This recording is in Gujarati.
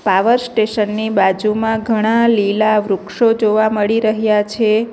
પાવર સ્ટેશન ની બાજુમાં ઘણા લીલા વૃક્ષો જોવા મળી રહ્યા છે.